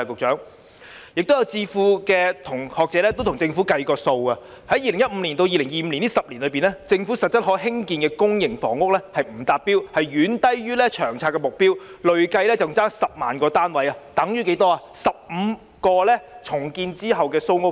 此外，有智庫和學者替政府計算過，在2015年至2025年這10年間，政府實質可興建的公營房屋數量不達標，遠低於《長遠房屋策略》所訂的目標，累計欠缺10萬個單位，而10萬個單位等於15個重建後的蘇屋邨。